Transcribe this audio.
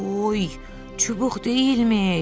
Oy, çubuq deyilmiş.